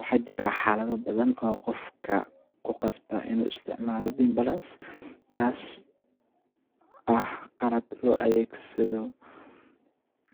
Waxajira xaladha badhan oo qofka kuqasba inuu isticmala beam balance taas ah qalab lo adeegsadho